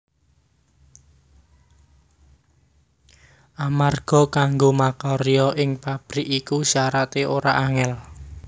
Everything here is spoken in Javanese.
Amarga kanggo makarya ing pabrik iku syarate ora angel